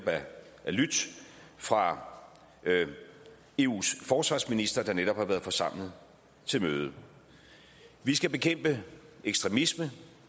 lydt fra eus forsvarsministre der netop har været forsamlet til møde vi skal bekæmpe ekstremisme